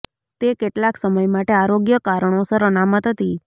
તે કેટલાક સમય માટે આરોગ્ય કારણોસર અનામત હતી